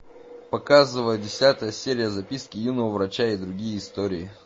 показывай десятая серия записки юного врача и другие истории